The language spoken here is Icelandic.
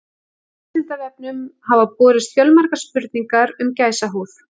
Vísindavefnum hafa borist fjölmargar spurningar um gæsahúð.